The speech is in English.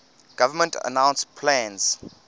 government announced plans